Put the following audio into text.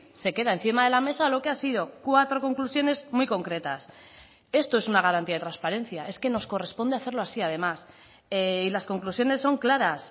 se queda encima de la mesa lo que ha sido cuatro conclusiones muy concretas esto es una garantía de transparencia es que nos corresponde hacerlo así además y las conclusiones son claras